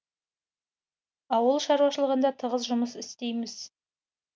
ауыл шаруашылығында тығыз жұмыс істейміз